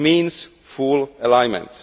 This means full alignment.